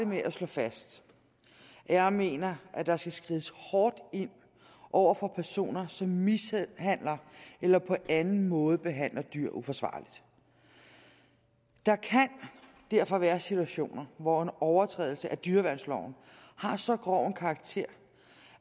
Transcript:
med at slå fast at jeg mener at der skal skrides hårdt ind over for personer som mishandler eller på anden måde behandler dyr uforsvarligt der kan derfor være situationer hvor en overtrædelse af dyreværnsloven har så grov en karakter